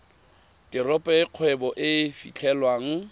teropo e kgwebo e fitlhelwang